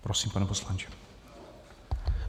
Prosím, pane poslanče.